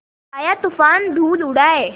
आया तूफ़ान धूल उड़ाए